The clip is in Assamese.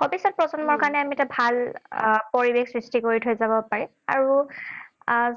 ভৱিষ্যত প্ৰজন্মৰ কাৰণে আমি এটা ভাল পৰিৱেশ সৃষ্টি কৰি থৈ যাব পাৰিম। আৰু